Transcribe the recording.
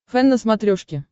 фэн на смотрешке